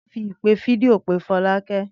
Túndé yóò fi ìpè fídíò pe Fọlákẹ́